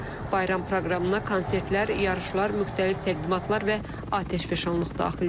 Bayram proqramına konsertlər, yarışlar, müxtəlif təqdimatlar və atəşfəşanlıq daxildir.